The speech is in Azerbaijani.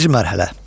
Birinci mərhələ.